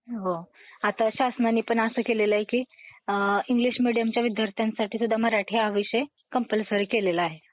हा, आता शासनाने पण असं केलेलंय की अं इंग्लिश मीडियमच्या विद्यार्थ्यांसाठी सुद्धा मराठी हा विषय कंपल्सरी केलेला आहे.